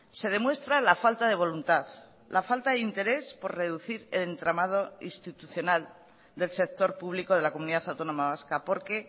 se demuestra la falta de voluntad la falta de interés por reducir el entramado institucional del sector público de la comunidad autónoma vasca porque